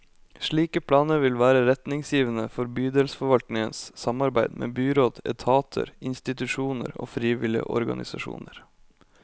Slike planer vil være retningsgivende for bydelsforvaltningens samarbeid med byråd, etater, institusjoner og frivillige organisasjoner.